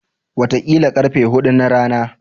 Wataƙila ƙarfe huɗu na rana.